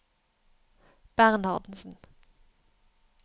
Bernhardsen